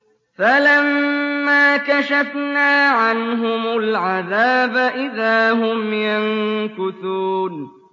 فَلَمَّا كَشَفْنَا عَنْهُمُ الْعَذَابَ إِذَا هُمْ يَنكُثُونَ